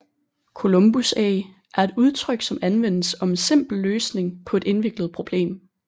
Columbusæg er et udtryk som anvendes om en simpel løsning på et indviklet problem